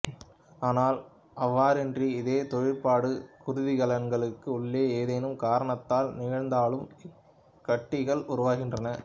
ஆனால் அவ்வாறின்றி இதே தொழிற்பாடு குருதிக்கலன்களுக்கு உள்ளே ஏதேனும் காரணத்தால் நிகழ்ந்தாலும் இக்கட்டிகள் உருவாகின்றன